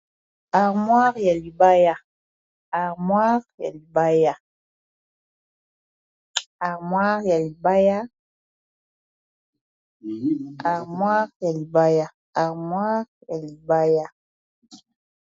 Armoire ya libaya, armoire ya libaya.